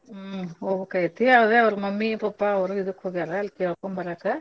ಹ್ಮ್ ಹೊಬೇಕಾಗೆೇತಿ ಅದ್ ಅವ್ರ mummy pappa ಅವ್ರು ಇದಕ್ ಹೋಗ್ಯಾರಾ ಕೇಳಕೊಂಬರಾಕ.